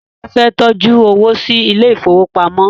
Tade fẹ ló tọjú owo sí Ilé ìfowópamọ́